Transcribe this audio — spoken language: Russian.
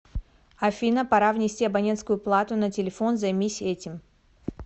афина пора внести абонентскую плату на телефон займись этим